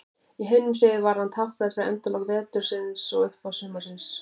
Í heiðnum sið var hann táknrænn fyrir endalok vetrarins og upphaf sumarsins.